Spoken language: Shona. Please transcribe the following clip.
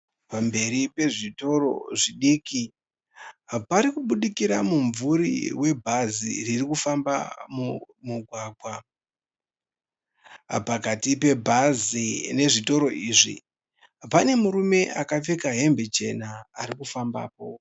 Pamberi pezvitoro zvidiki. Parikubudikira mumvuri webhazi ririkufamba mumugwagwa. Pakati pebhazi nezvitoro izvi pane murume akapfeka hembe chena arikufambapo.